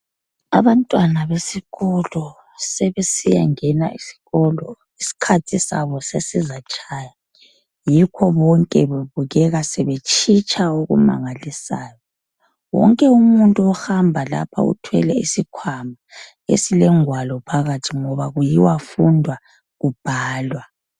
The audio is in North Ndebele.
Abantwana besikolo sebesiya ngena esikolo. Iskhathi sabo sesizatshaya. Yikho bonke bebukeka sebetshitsha okumangalisayo. Wonke umuntu ohamba lapha uthwele isikhwama esile ngwalo phakathi. Ngoba kuyiwa fundwa kubhalwa.